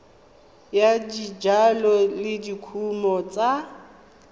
ya dijalo le dikumo tsa